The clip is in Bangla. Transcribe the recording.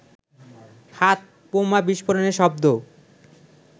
হাতবোমা বিস্ফোরণের শব্দ